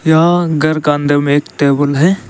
यहां घर के अंदर में एक टेबुल टेबल है।